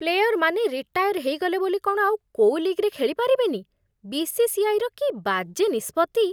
ପ୍ଲେୟରମାନେ retire ହେଇଗଲେ ବୋଲି କ'ଣ ଆଉ କୋଉ ଲିଗ୍‌ରେ ଖେଳିପାରିବେନି, ବି.ସି.ସି.ଆଇ. ର କି ବାଜେ ନିଷ୍ପତ୍ତି!